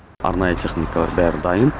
арнайы техникалар бәрі дайын